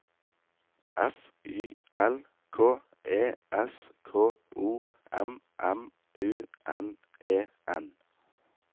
F Y L K E S K O M M U N E N